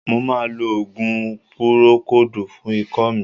Mo ma lo òògùn púrókòòdù fún ikọ́ mi.